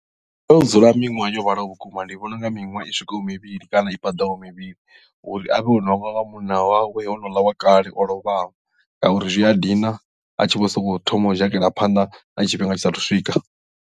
U tea u dzula miṅwaha yo vhalaho vhukuma ndi vhona u nga miṅwaha i swikaho mivhili kana i paḓaho mivhili uri avhe o no hangwa nga munna wawe o no ḽa wa kale o lovhaho ngauri zwi a dina a tshi vho sokou thoma u dzhakela phanḓa na tshifhinga tshisa thu swika.